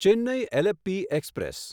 Chennai Alleppey express